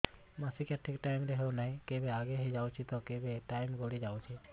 ମାସିକିଆ ଠିକ ଟାଇମ ରେ ହେଉନାହଁ କେବେ ଆଗେ ହେଇଯାଉଛି ତ କେବେ ଟାଇମ ଗଡି ଯାଉଛି